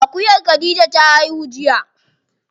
Akuyar khadija ta haihu jiya.